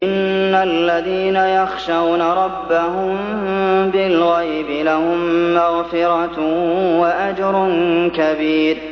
إِنَّ الَّذِينَ يَخْشَوْنَ رَبَّهُم بِالْغَيْبِ لَهُم مَّغْفِرَةٌ وَأَجْرٌ كَبِيرٌ